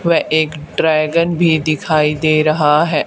व एक ड्रैगन भी दिखाई दे रहा है।